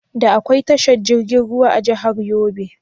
Da akwai tashar jirgin ruwa a jahar Yobe?